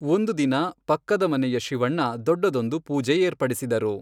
ಒಂದು ದಿನ, ಪಕ್ಕದ ಮನೆಯ ಶಿವಣ್ಣ ದೊಡ್ಡದೊಂದು ಪೂಜೆ ಏರ್ಪಡಿಸಿದರು.